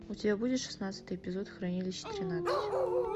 у тебя будет шестнадцатый эпизод хранилища тринадцать